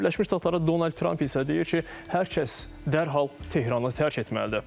Amerika Birləşmiş Ştatları Donald Trump isə deyir ki, hər kəs dərhal Tehranı tərk etməlidir.